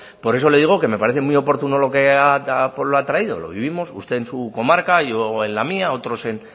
por eso le digo que me parece muy oportuno lo que ha traído lo vivimos usted en su comarca yo en la mía otros en